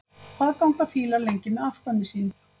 Hvað ganga fílar lengi með afkvæmi sín?